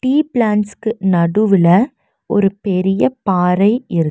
tea பிளான்ஸ்க்கு நடுவுல ஒரு பெரிய பாறை இரு--